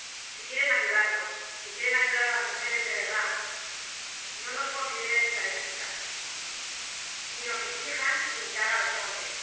Si quieren ayudarnos, si quieren ayudar a las mujeres de verdad, no nos consideren estadísticas ni nos exijan imitar a los hombres.